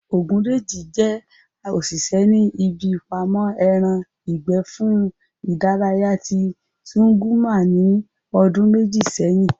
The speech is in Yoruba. Ògúndèjì jẹ́ òṣìṣẹ́ ní ibi ìpamọ́ ẹran ìgbẹ́ fún ìdárayá ti Zúgúrmà ní ọdún méjì sẹ́yìn